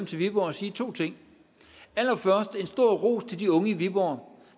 til viborg og sige to ting allerførst en stor ros til de unge i viborg